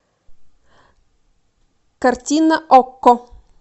картина окко